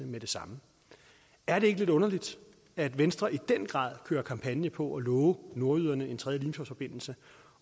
med det samme er det ikke lidt underligt at venstre i den grad kører kampagne på at love nordjyderne en tredje limfjordsforbindelse